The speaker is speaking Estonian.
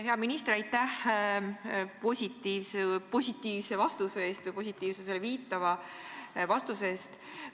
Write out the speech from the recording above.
Hea minister, aitäh positiivse vastuse või positiivsusele viitava vastuse eest!